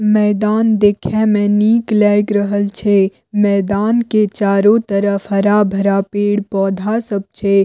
मैदान देखे में निक लैग रहल छे मैदान के चारो तरफ हरा-भरा पेड़-पौधा सब छे।